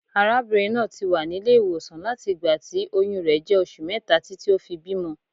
Arábìnrin náà ti wà nílé ìwòsàn láti ìgbà tí oyún rẹ̀ jẹ́ oṣù mẹ́ta títí ó fi bímọ.